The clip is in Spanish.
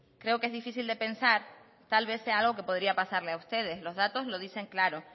creo que es difícil de pensar tal vez sea algo que podría pasarle a ustedes los datos lo dicen claro